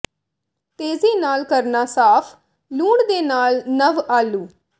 ਤੇਜ਼ੀ ਨਾਲ ਕਰਨਾ ਸਾਫ਼ ਲੂਣ ਦੇ ਨਾਲ ਨਵ ਆਲੂ